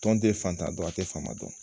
Tɔn te fatan dɔn, a te faama dɔn.